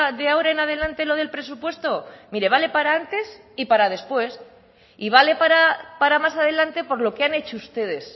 de ahora en adelante lo del presupuesto mire vale para antes y para después y vale para más adelante por lo que han hecho ustedes